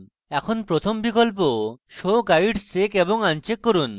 এখন প্রথম বিকল্প show guides check এবং uncheck করুন